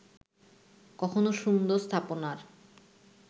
কখনো সুন্দর স্থাপনার